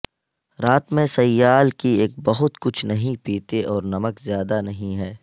رات میں سیال کی ایک بہت کچھ نہیں پیتے اور نمک زیادہ نہیں ہے